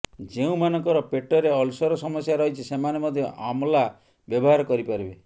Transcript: ଯେଉଁମାନଙ୍କର ପେଟରେ ଅଲସର ସମସ୍ୟା ରହିଛି ସେମାନେ ମଧ୍ୟ ଆମଲା ବ୍ୟବହାର କରିପାରିବେ